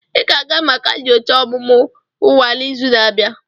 Ị ga-aga maka nyocha ọmụmụ nwa n'izu na-abịa!